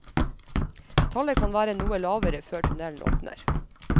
Tallet kan være noe lavere før tunnelen åpner.